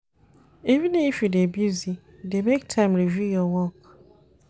Even if you dey busy, dey make time review your work.